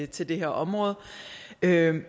til det her område men jeg vil